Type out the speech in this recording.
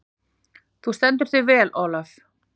Þú stendur þig vel, Olav!